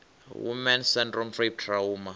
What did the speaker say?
woman s syndrome rape trauma